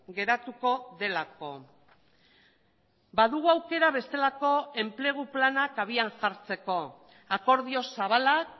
geratuko delako badugu aukera bestelako enplegu planak abian jartzeko akordio zabalak